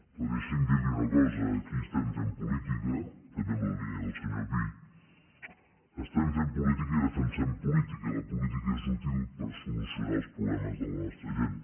però deixi’m dir li una cosa aquí estem fent política també en la línia del senyor pi estem fent política i defensem política i la política és útil per solucionar els problemes de la nostra gent